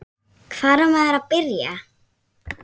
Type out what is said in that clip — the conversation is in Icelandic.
Hvar á maður að byrja?